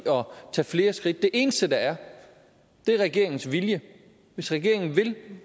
at tage flere skridt det eneste der er er regeringens vilje hvis regeringen vil